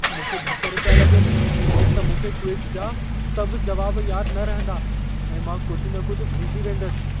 मूंखे ढकर पिया लॻनि त मूंखे क्विज़ जा सभ जवाब यादि न रहंदा ऐं मां कुझि न कुझि भुलिजी वेंदसि।